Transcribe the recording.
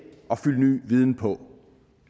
og fylde ny viden på